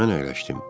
Mən əyləşdim.